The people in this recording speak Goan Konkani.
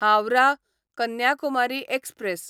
हावराह कन्याकुमारी एक्सप्रॅस